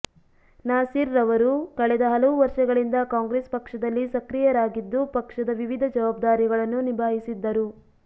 ನಾಸೀರ್ರವರು ಕಳೆದ ಹಲವು ವರ್ಷಗಳಿಂದ ಕಾಂಗ್ರೆಸ್ ಪಕ್ಷದಲ್ಲಿ ಸಕ್ರೀಯರಾಗಿದ್ದು ಪಕ್ಷದ ವಿವಿಧ ಜವಾಬ್ದಾರಿಗಳನ್ನು ನಿಭಾಯಿಸಿದ್ದರು